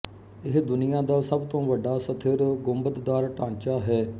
ਇਹ ਦੁਨੀਆ ਦਾ ਸਭ ਤੋਂ ਵੱਡਾ ਸਥਿਰ ਗੁੰਬਦਦਾਰ ਢਾਂਚਾ ਹੈ